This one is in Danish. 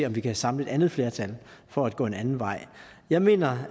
om vi kan samle et andet flertal for at gå en anden vej jeg mener